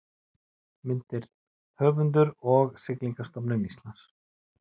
Myndir: Höfundur og Siglingastofnun Íslands